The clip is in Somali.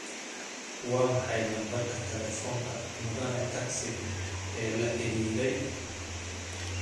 Waa maxay lambarka taleefanka mudane taxi ee la xiriiray